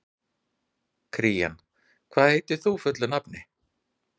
Kíran, hvað heitir þú fullu nafni?